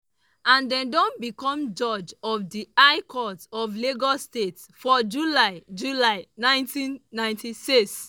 and den become judge of di high court of lagos state for july july 1996.